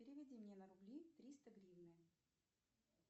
переведи мне на рубли триста гривны